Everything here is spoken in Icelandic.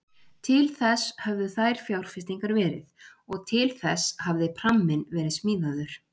Til þess höfðu þær fjárfestingar verið og til þess hafði pramminn verið smíðaður.